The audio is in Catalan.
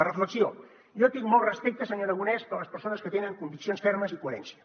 la reflexió jo tinc molt respecte senyor aragonès per les persones que tenen conviccions fermes i coherència